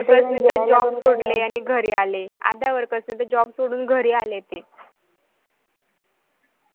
अर्ध्या worker नि त job सोडले आणि घरी आले ते अर्ध्या worker नि त job सोडून घरी आले ते